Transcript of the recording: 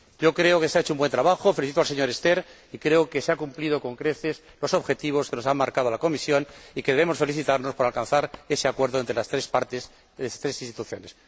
Creo que se ha hecho un buen trabajo. Felicito al señor Sterckx y creo que se han cumplido con creces los objetivos que nos ha marcado la Comisión y que debemos felicitarnos por alcanzar ese acuerdo entre las tres partes, entre las tres instituciones.